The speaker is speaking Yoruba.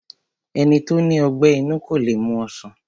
Ẹni tó ní ọgbẹ́ inú kó le mu ọsàn